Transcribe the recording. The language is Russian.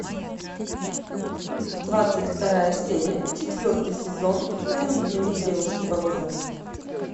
двадцать вторая серия четвертый сезон тайный дневник девушки по вызову